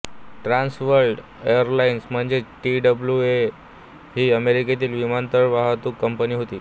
trans world airlines म्हणजेच T W A ही अमेरिकेतील विमानवाहतूक कंपनी होती